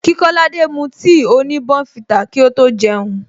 Kí kolade mu tea oni bournvita kí ó tó jeun